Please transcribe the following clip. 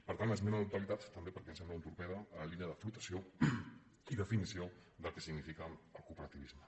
per tant esmena a la totalitat també perquè ens sembla un torpede a la línia de flotació i definició del que significa el cooperativisme